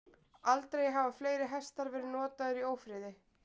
Aldrei hafa fleiri hestar verið notaðir í ófriði.